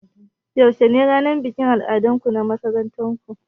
Yaushe ne ranar bikin al'adu a makarantar ku?